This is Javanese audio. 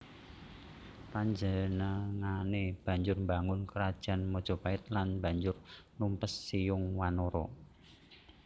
Panjenengané banjur mbangun Krajan Majapait lan banjur numpes Siyung Wanara